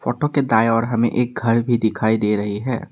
Photo के दाए ओर हमें एक घर भी दिखाई दे रही है।